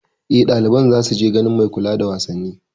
Eh, ɗaliban za su je ganin mai kula da wasanni